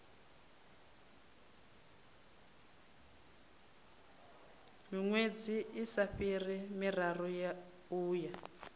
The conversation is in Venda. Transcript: miṅwedzi isa fhiri miraru uya